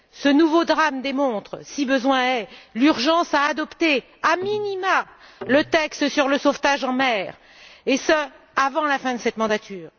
Ce nouveau drame démontre, si besoin est, l'urgence d'adopter a minima le texte sur le sauvetage en mer, et ce avant la fin de cette législature.